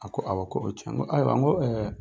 A ko, awa k'o tiɲɛ ye, n ko ayiwa, n ko